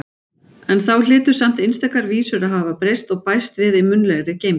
En þá hlytu samt einstakar vísur að hafa breyst og bæst við í munnlegri geymd.